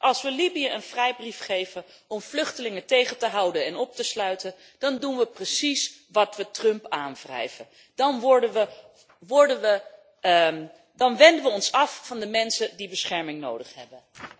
Als we Libië een vrijbrief geven om vluchtelingen tegen te houden en op te sluiten, dan doen we precies wat we Trump aanwrijven, dan wenden we ons af van de mensen die bescherming nodig hebben.